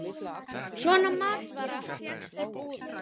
Svona matvara fékkst í búðum.